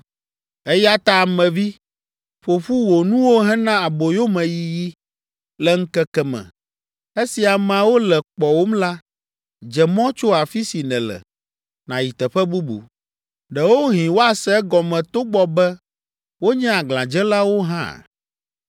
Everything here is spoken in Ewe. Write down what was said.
“Eya ta ame vi, ƒo ƒu wò nuwo hena aboyomeyiyi. Le ŋkeke me, esi ameawo le kpɔwòm la, dze mɔ tso afi si nèle, nàyi teƒe bubu. Ɖewohĩ woase egɔme togbɔ be wonye aglãdzelawo hã.